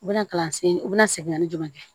U bɛna kalansen u be na segin ka ni jumɛn kɛ